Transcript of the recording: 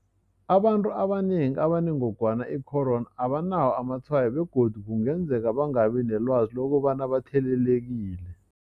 Abantu abanengi abanengogwana i-corona abanawo amatshwayo begodu kungenzeka bangabi nelwazi lokobana bathelelekile.